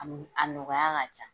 A n a nɔgɔya ka ca.